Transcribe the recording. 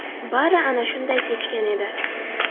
Bari ana shunday kechgan edi.